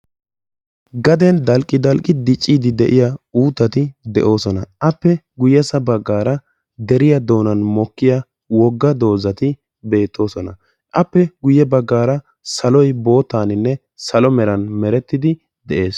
Gaden dalqqi dalqqi dicciiddi de'iya uuttati de'oosona. Appe guyyessa baggaara deriya doonan mokkiya wogga dozati beettoosona. Appe guyye baggaaara saloy boottaaninne salo meran merettidi de'es.